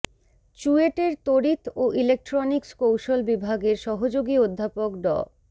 চুয়েটের তড়িৎ ও ইলেক্ট্রনিক্স কৌশল বিভাগের সহযোগী অধ্যাপক ড